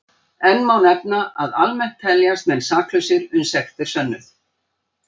Enn má nefna að almennt teljast menn saklausir uns sekt er sönnuð.